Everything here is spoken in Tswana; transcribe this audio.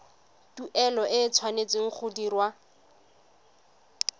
tuelo e tshwanetse go dirwa